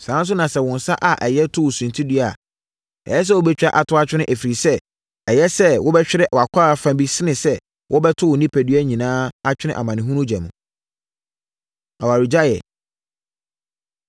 Saa ara nso na sɛ wo nsa a ɛyɛ to wo suntidua a, ɛyɛ sɛ wobɛtwa ato atwene ɛfiri sɛ, ɛyɛ sɛ wobɛhwere wʼakwaa fa bi sene sɛ wɔbɛto wo onipadua nyinaa atwene amanehunu ogya mu. Awaregyaeɛ